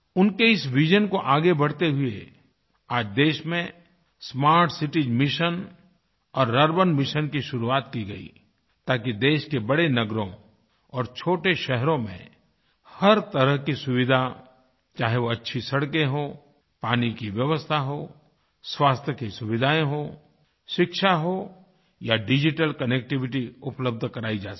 उनके इस विजन को आगे बढ़ाते हुए आज देश में स्मार्ट सिटीज मिशन और अर्बन मिशन की शुरुआत की गई ताकि देश के बड़े नगरों और छोटे शहरों में हर तरह की सुविधा चाहे वो अच्छी सड़के हों पानी की व्यवस्था हो स्वास्थ्य की सुविधाएँ हो शिक्षा हो या डिजिटल कनेक्टिविटी उपलब्ध कराई जा सके